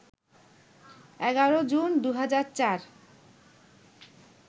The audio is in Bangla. ১১ জুন, ২০০৪